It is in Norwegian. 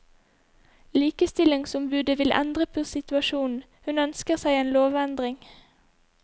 Likestillingsombudet vil endre på situasjonen, hun ønsker seg en lovendring.